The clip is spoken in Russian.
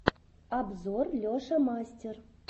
обзор леша мастер